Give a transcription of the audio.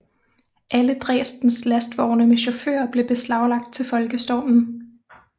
Alle Dresdens lastvogne med chauffører blev beslaglagt til folkestormen